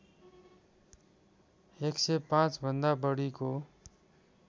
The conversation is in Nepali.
१०५ भन्दा बढीको